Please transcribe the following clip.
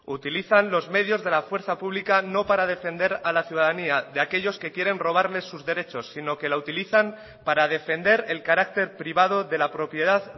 utilizan los medios de la fuerza pública no para defender a la ciudadanía de aquellos que quieren robarles sus derechos sino que la utilizan para defender el carácter privado de la propiedad